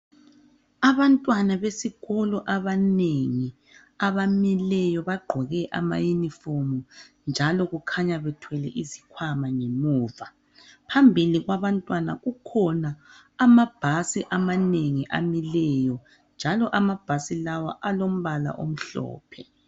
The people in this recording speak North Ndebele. Abantwana besikolo abanengi abamileyo bagqoke ama uniform njalo kukhanya bethwele izikhwama ngemuva phambili kwabantwana kukhona amabhasi amanengi amileyo njalo amabhasi lawa alombala omhlophe